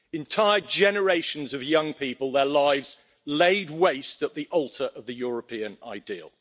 Entire generations of young people, their lives laid waste at the altar of the European ideal.